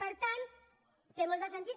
per tant té molt de sentit